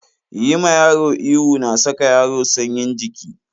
Yi ma yaro ihu na saka yaro sanyin jiki.